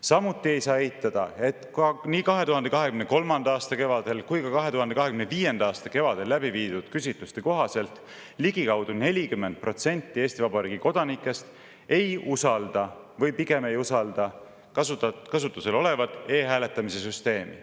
Samuti ei saa eitada, et nii 2023. aasta kevadel kui ka 2025. aasta kevadel läbi viidud küsitluste kohaselt ligikaudu 40% Eesti Vabariigi kodanikest ei usalda või pigem ei usalda kasutusel olevat e-hääletamise süsteemi.